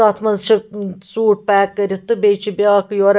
.تَتھ منٛز چھ سوٗٹ پیک کٔرِتھ تہٕ بیٚیہِ چھ بیٛاکھ یورٕ